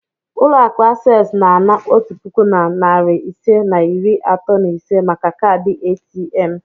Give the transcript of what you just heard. Ulo aku accessu na-ana otu puku na narị ise na iri atọ na ise maka kaadị ATM.